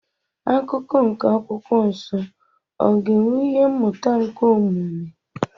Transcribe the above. Akụkọ nke akwụkwọ nsọ ọ ga-enwe ihe mmụta nke omume?